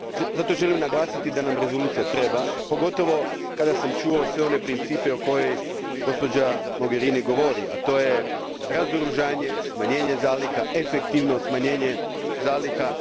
Zato želim naglasiti da nam rezolucija treba, pogotovo kada sam čuo sve one principe o kojima gospođa Mogherini govori, a to su razoružanje, smanjenje zaliha, efektivno smanjenje zaliha.